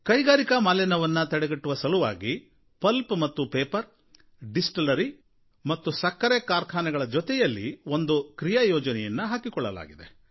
ಕೈಗಾರಿಕಾ ಮಾಲಿನ್ಯವನ್ನು ತಡೆಗಟ್ಟುವ ಸಲುವಾಗಿ ಪಲ್ಪ್ ಮತ್ತು ಪೇಪರ್ ಡಿಸ್ಟಿಲರಿ ಮತ್ತು ಸಕ್ಕರೆ ಕಾರ್ಖಾನೆಗಳ ಜೊತೆಯಲ್ಲಿ ಒಂದು ಕ್ರಿಯಾಯೋಜನೆಯನ್ನು ಹಾಕಿಕೊಳ್ಳಲಾಗಿದೆ